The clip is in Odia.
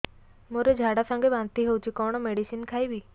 ମୋର ଝାଡା ସଂଗେ ବାନ୍ତି ହଉଚି କଣ ମେଡିସିନ ଖାଇବି